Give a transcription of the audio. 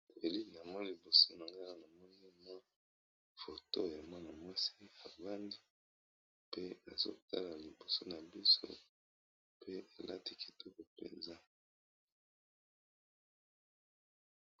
Elili namoni liboso na nga namoni mwa foto ya mwana-mwasi ,avandi pe ezotala liboso na biso pe elati kitoko mpenza.